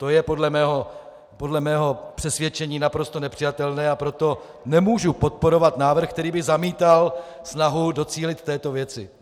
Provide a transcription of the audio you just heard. To je podle mého přesvědčení naprosto nepřijatelné, a proto nemůžu podporovat návrh, který by zamítal snahu docílit této věci.